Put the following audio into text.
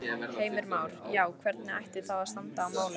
Heimir Már: Já, hvernig ætti þá að standa að málum?